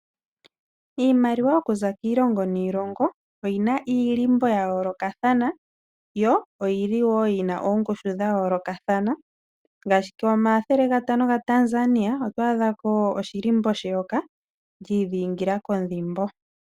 Iimaliwa okuza kiilongo niilongo oyina iilimbo ya yoolokathana yo oyili yina ongushu dha yoolokathana, ngaashi komathele gatano gaTanzania oto adha ko shilimbo sheyoka li idhingila kondhimbo.